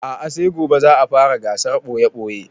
A'a sai gobe za a fara gasar ɓoye-ɓoye